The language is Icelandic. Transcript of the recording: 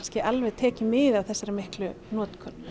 tekið mið af þessari miklu notkun